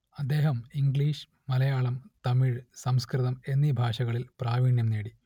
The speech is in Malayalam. അദ്ദേഹം ഇംഗ്ലീഷ് മലയാളം തമിഴ് സംസ്കൃതം എന്നീ ഭാഷകളിൽ പ്രാവീണ്യം നേടി